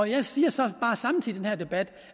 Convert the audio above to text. jeg siger så bare samtidig i den her debat